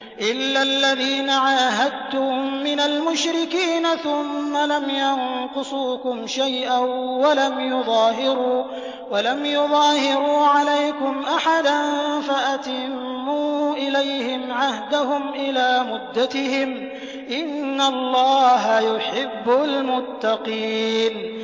إِلَّا الَّذِينَ عَاهَدتُّم مِّنَ الْمُشْرِكِينَ ثُمَّ لَمْ يَنقُصُوكُمْ شَيْئًا وَلَمْ يُظَاهِرُوا عَلَيْكُمْ أَحَدًا فَأَتِمُّوا إِلَيْهِمْ عَهْدَهُمْ إِلَىٰ مُدَّتِهِمْ ۚ إِنَّ اللَّهَ يُحِبُّ الْمُتَّقِينَ